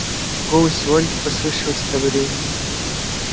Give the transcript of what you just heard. голосе ольги послышалось одобрение